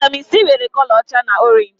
Vaitamin Sii nwèrè kọlọ ọcha na orenji